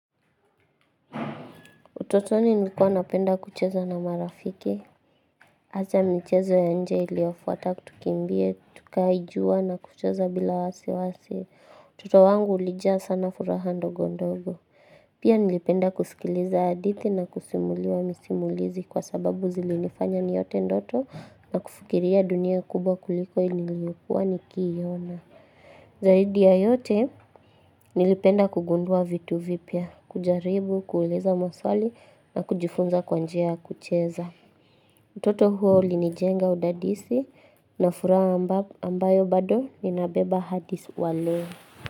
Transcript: Utotoni nilikuwa napenda kucheza na marafiki. Hasa michezo ya nje iliofuata tukimbie, tukae jua na kucheza bila wasiwasi. Utoto wangu ulijaa sana furaha ndogo ndogo. Pia nilipenda kusikiliza hadithi na kusimuliwa misimulizi kwa sababu zilinifanya niote ndoto na kufikiria dunia kubwa kuliko nilivyokuwa nikiiona. Zaidi ya yote nilipenda kugundua vitu vipya, kujaribu, kuuliza maswali na kujifunza kwa njia ya kucheza. Utoto huo ulinijenga udadisi na furaha ambayo bado ninabeba hadi wa leo.